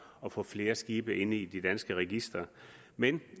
at få flere skibe ind i de danske registre men